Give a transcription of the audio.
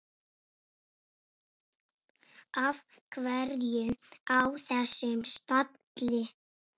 Af hverju á þessum stalli?